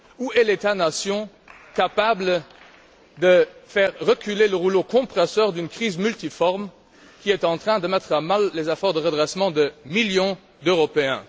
Où est l'État nation capable de faire reculer le rouleau compresseur de cette crise multiforme, qui est en train de mettre à mal les efforts de redressement de millions d'Européens?